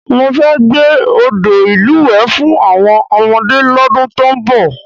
Mo fẹ́ gbẹ́ odò ìlúwẹ̀ẹ́ fún àwọn ọmọdé lọ́dún tó ń bọ̀